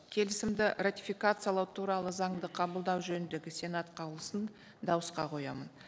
келісімді ратификациялау туралы заңды қабылдау жөніндегі сенат қаулысын дауысқа қоямын